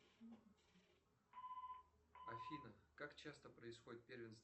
афина как часто происходит первенство